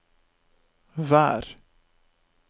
vær